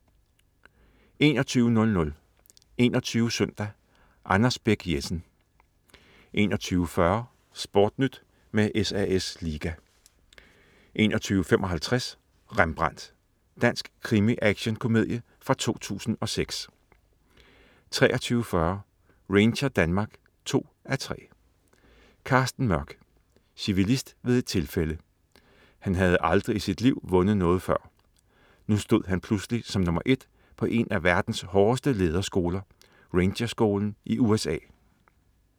21.00 21 Søndag. Anders Bech-Jessen 21.40 SportNyt med SAS Liga 21.55 Rembrandt. Dansk krimi-action-komedie fra 2003 23.40 Ranger Denmark 2:3. Carsten Mørch. Civilist ved et tilfælde. Han havde aldrig i sit liv vundet noget før. Nu stod han pludselig som nr. 1 på en af verdens hårdeste lederskoler, Rangerskolen i USA